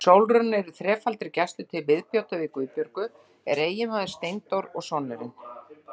Sólrún er í þrefaldri gæslu, til viðbótar við Guðbjörgu er eiginmaðurinn Steindór og sonurinn